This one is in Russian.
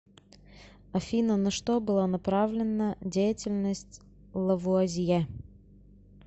афина на что была направленна деятельность лавуазье